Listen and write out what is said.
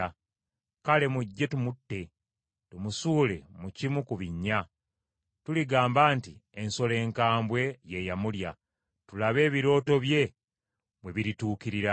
Kale mujje tumutte, tumusuule mu kimu ku binnya; tuligamba nti, ‘Ensolo enkambwe ye yamulya; tulabe ebirooto bye bwe birituukirira.’ ”